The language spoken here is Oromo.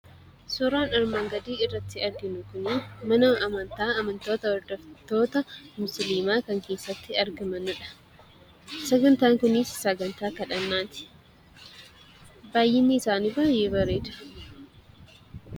Suuraan armaan gadii irratti arginu kun, mana amantaa amantoota hordoftoota musliimaa kan keessatti argamanidha. Sagantaan kunis sagantaa kadhannaati. Baayyinni isaanii baayyee bareeda.